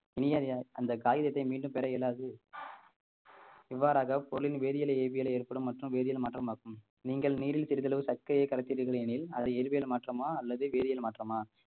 இனி அதை அந்த காகிதத்தை மீண்டும் பெற இயலாது இவ்வாறாக பொருளின் வேதியியலை இயற்பியலில் ஏற்படும் மற்றும் வேதியியல் மாற்றம் ஆகும் நீங்கள் நீரில் சிறிதளவு சர்க்கரையை கலக்கிறீர்கள் எனில் அது இயற்பியல் மாற்றமா அல்லது வேதியல் மாற்றமா